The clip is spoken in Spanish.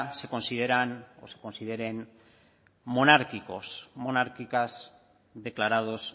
se consideran o se consideren monárquicos monárquicas declarados